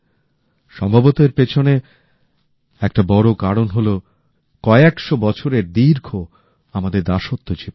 সম্ভবত এর পেছনে একটা বড় কারণ হলো কয়েকশো বছরের দীর্ঘ আমাদের দাসত্ব জীবন